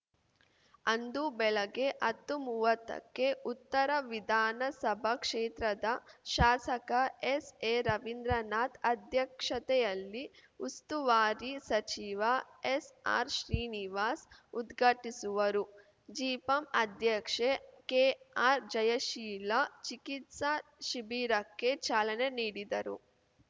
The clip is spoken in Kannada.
ಅಂದು ಬೆಳಿಗ್ಗೆ ಹತ್ತುಮೂವತ್ತಕ್ಕೆ ಉತ್ತರ ವಿಧಾನ ಸಭಾ ಕ್ಷೇತ್ರದ ಶಾಸಕ ಎಸ್‌ಎರವಿಂದ್ರನಾಥ್‌ ಅಧ್ಯಕ್ಷತೆಯಲ್ಲಿ ಉಸ್ತುವಾರಿ ಸಚಿವ ಎಸ್‌ಆರ್‌ಶ್ರೀನಿವಾಸ್ ಉದ್ಘಾಟಿಸುವರು ಜಿಪಂ ಅಧ್ಯಕ್ಷೆ ಕೆಆರ್‌ಜಯಶೀಲ ಚಿಕಿತ್ಸಾ ಶಿಬಿರಕ್ಕೆ ಚಾಲನೆ ನೀಡಿದರು